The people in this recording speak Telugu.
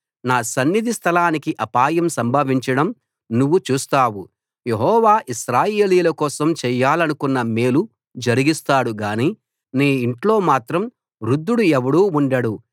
నా సన్నిధి స్థలానికి అపాయం సంభవించడం నువ్వు చూస్తావు యెహోవా ఇశ్రాయేలీయుల కోసం చేయాలనుకొన్న మేలు జరిగిస్తాడు గానీ నీ ఇంట్లో మాత్రం వృద్ధుడు ఎవడూ ఉండడు